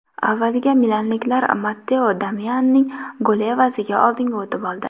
Avvaliga milanliklar Matteo Darmianning goli evaziga oldinga o‘tib oldi.